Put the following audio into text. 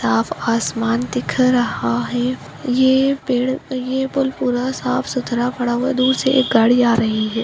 साफ आसमान दिख रहा है ये पेड़ ये पुल पुरा साफ - सुथरा पड़ा हुआ है दूर से एक गाड़ी आ रही है।